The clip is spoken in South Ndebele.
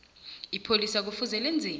ipholisa kufuze lenzeni